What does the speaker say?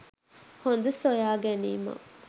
හොඳ සොයා ගැනීමක්.